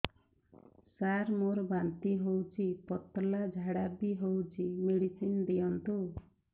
ସାର ମୋର ବାନ୍ତି ହଉଚି ପତଲା ଝାଡା ବି ହଉଚି ମେଡିସିନ ଦିଅନ୍ତୁ